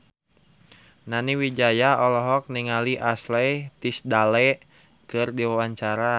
Nani Wijaya olohok ningali Ashley Tisdale keur diwawancara